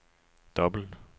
dobbelt